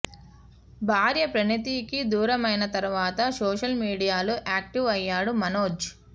భార్య ప్రణతికి దూరమైన తర్వాత సోషల్ మీడియాలో యాక్టివ్ అయ్యాడు మనోజ్